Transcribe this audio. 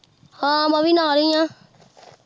ਹਾਂ ਮੈਂ ਵੀ ਨਾਲ਼ ਹੀ ਏ।